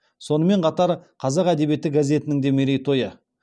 сонымен қатар қазақ әдебиеті газетінің де мерейтойы